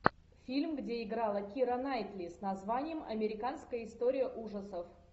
фильм где играла кира найтли с названием американская история ужасов